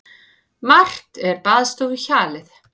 Margt er baðstofuhjalið.